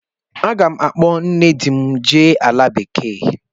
Aga m akpọ nne di m jee ala bekee.